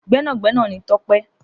Gbẹnagbẹna ni Tope.